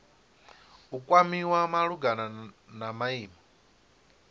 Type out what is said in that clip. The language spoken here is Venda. u kwamiwa malugana na maimo